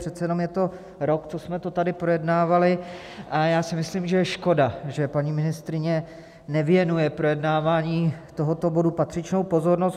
Přece jenom je to rok, co jsme to tady projednávali, a já si myslím, že je škoda, že paní ministryně nevěnuje projednávání tohoto bodu patřičnou pozornost.